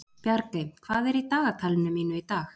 Bjargey, hvað er í dagatalinu mínu í dag?